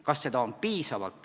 Kas seda on piisavalt?